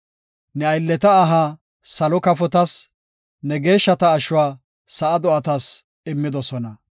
Ne aylleta aha salo kafotas, ne geeshshata ashuwa sa7a do7atas immidosona.